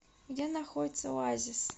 где находится оазис